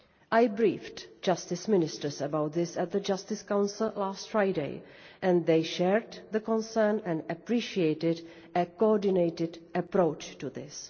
I briefed Justice Ministers about this at the Justice Council last Friday they shared our concern and appreciated a coordinated approach to